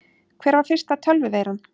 Hver var fyrsta tölvuveiran?